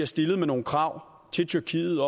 stille nogle krav til tyrkiet